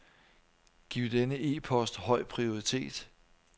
Giv denne e-post høj prioritet.